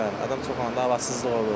Adam çox olanda havasızlıq olur.